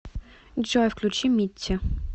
джой включи митти